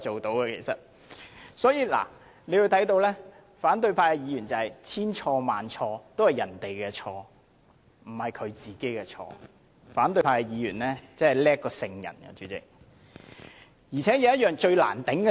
大家可以看到，反對派議員認為千錯萬錯全是別人的錯，不是他們的錯，他們比聖人還要了不起。